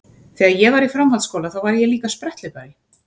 Þegar ég var í framhaldsskóla þá var ég líka spretthlaupari.